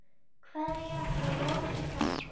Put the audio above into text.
Kveðja frá Lovísu frænku.